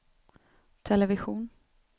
television